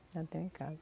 Já tenho em casa.